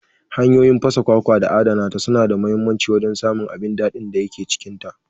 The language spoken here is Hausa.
Hanyoyin fasa kwakwa da adana ta suna da muhimmancin wajen samun abin daɗin da yake cikinta.